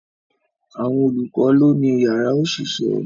Àwọn olùkọ́ lọ́ ni yàrá òṣìṣẹ́